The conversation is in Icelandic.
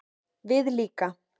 Við líka